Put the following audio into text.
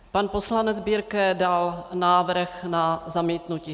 Pan poslanec Birke dal návrh na zamítnutí.